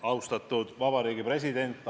Austatud Vabariigi President!